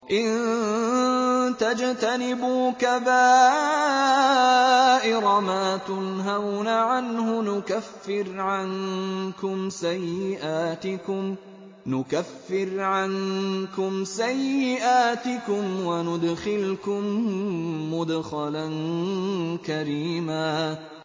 إِن تَجْتَنِبُوا كَبَائِرَ مَا تُنْهَوْنَ عَنْهُ نُكَفِّرْ عَنكُمْ سَيِّئَاتِكُمْ وَنُدْخِلْكُم مُّدْخَلًا كَرِيمًا